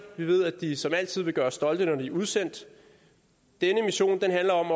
vi ved at de som altid vil gøre os stolte når de er udsendt denne mission handler om